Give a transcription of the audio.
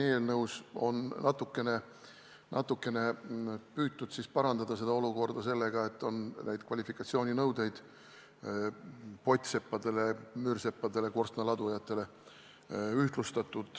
Eelnõus on natukene püütud parandada seda olukorda sellega, et on ühtlustatud kvalifikatsiooninõudeid pottseppadele, müürseppadele ja korstnaladujatele.